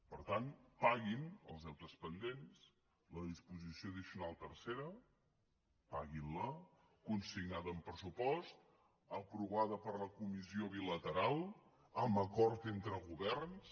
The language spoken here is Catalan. per tant paguin els deutes pendents la disposició addicional tercera paguin la consignada en pressupost aprovada per la comissió bilateral amb acord entre governs